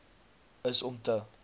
is om te